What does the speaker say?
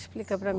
Explica para mim.